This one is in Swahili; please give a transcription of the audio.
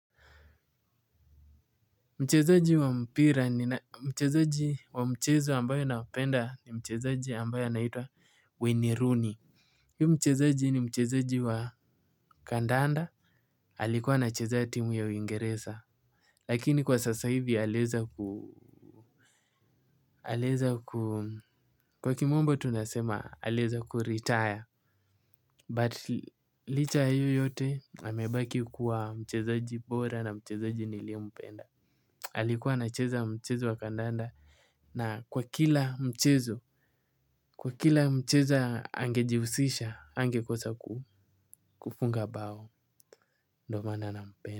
Mchezaji wa mpira ni mchezaji wa mchezo ambayo ninapenda ni mchezaji ambayo anaitwa weniruni. Hiu mchezaji ni mchezaji wa kandanda. Alikuwa na cheza ya timu ya uingeresa. Lakini kwa sasa hivi aleza ku aleza ku kwa kimombo tunasema aleza ku retire But licha ayo yote amebaki kuwa mchezaji bora na mchezaji nilie mpenda. Alikuwa anacheza wa mchezo wa kandaanda. Na kwa kila mchezo, kwa kila mchezo angejihusisha, angekosa kufunga bao, ndomana na mpenda.